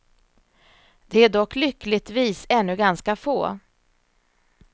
De är dock lyckligtvis ännu ganska få.